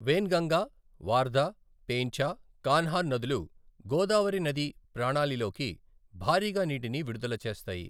వెన్గంగా, వార్ధా, పేంచ, కన్హాన్ నదులు గోదావరి నదీ ప్రాణాళిలోకి భారీగా నీటిని విడుదల చేస్తాయి.